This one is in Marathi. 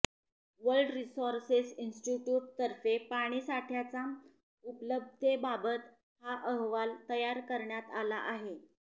वर्ल्ड रिसोर्सेस इन्स्टिट्युट तर्फे पाणीसाठ्याच्या उपलब्धतेबाबत हा अहवाल तयार करण्यात आला आहे